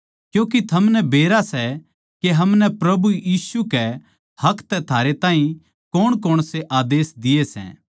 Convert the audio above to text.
क्यूँके थमनै बेरा सै के हमनै प्रभु यीशु के हक तै थारे ताहीं कौणकौण से आदेस दिये सै